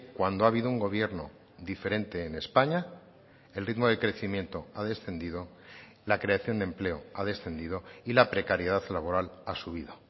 cuando ha habido un gobierno diferente en españa el ritmo de crecimiento ha descendido la creación de empleo ha descendido y la precariedad laboral ha subido